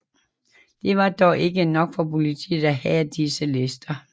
Det var dog ikke nok for politiet af have disse lister